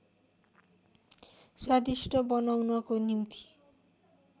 स्वादिष्ट बनाउनको निम्ति